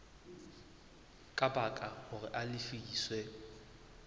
ka baka hore a lefiswe